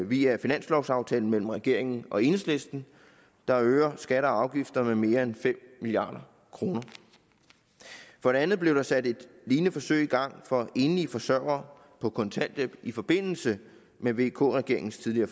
via finanslovaftalen mellem regeringen og enhedslisten der øger skatter og afgifter med mere end fem milliard kroner for det andet blev der sat et lignende forsøg i gang for enlige forsørgere på kontanthjælp i forbindelse med vk regeringens tidligere